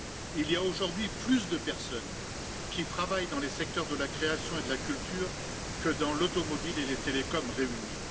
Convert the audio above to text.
Il y a aujourd'hui plus de personnes qui travaillent dans les secteurs de la création et de la culture que dans l'automobile et les télécoms réunis.